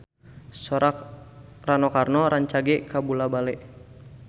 Sora Rano Karno rancage kabula-bale